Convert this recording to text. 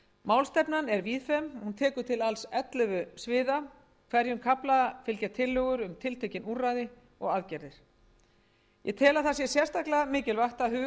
málstefnan er víðfeðm tekur til alls ellefu sviða hverjum kafla fylgja tillögur um tiltekin úrræði og aðgerðir ég tel að það sé sérstaklega mikilvægt að